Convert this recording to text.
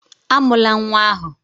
Amụla nwa ahụ!